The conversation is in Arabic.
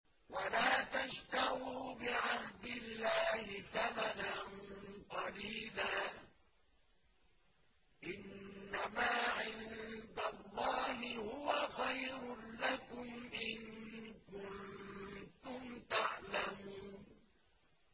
وَلَا تَشْتَرُوا بِعَهْدِ اللَّهِ ثَمَنًا قَلِيلًا ۚ إِنَّمَا عِندَ اللَّهِ هُوَ خَيْرٌ لَّكُمْ إِن كُنتُمْ تَعْلَمُونَ